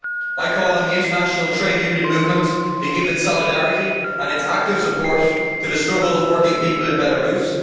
I call on the international trade union movement to give its solidarity and its active support to the struggle of working people in Belarus.